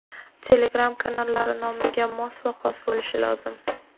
Telegram kanallari nomiga mos va xos bo‘lishi lozim.